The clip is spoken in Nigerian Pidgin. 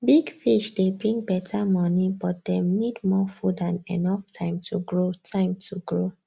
big fish dey bring better money but dem need more food and enough time to grow time to grow